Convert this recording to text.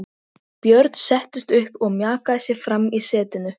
Lýk upp fyrsta desember svo dúskur rifnar af húfu.